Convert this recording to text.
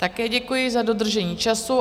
Také děkuji za dodržení času.